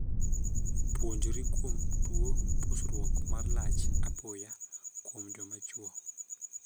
Puonjri kuom tuo pusruok (ndong') mar lach apoya kuom joma chwo.